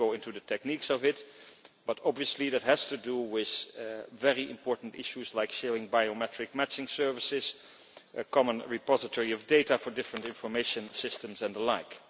I will not go into the techniques of it, but obviously it has to do with very important issues like sharing biometric matching services, a common repository of data for different information systems, and the like.